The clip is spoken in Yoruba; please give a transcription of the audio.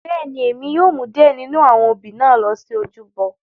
Bẹ́ẹ̀ni, Emi yóò mu diẹ ninu awọn obí na lo si ojúbọ.